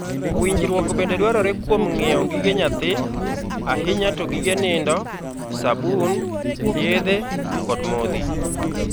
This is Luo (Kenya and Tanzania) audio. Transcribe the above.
Winjruok bende dwarore kuom ng;iewo gige nyathi, ahinya to gige nindo, sabun, yedhe, kod modhi.